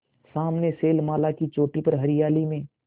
सामने शैलमाला की चोटी पर हरियाली में